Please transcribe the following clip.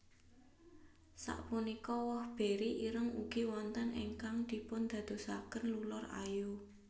Sapunika woh beri ireng ugi wonten ingkang dipundadosaken lulur ayu